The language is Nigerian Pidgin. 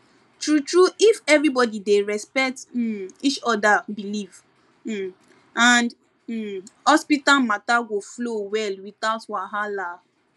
true true if everybody dey respect um each other belief um and um hospital matter go flow well without wahala